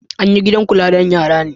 An yi gidan kullawa don yara ne.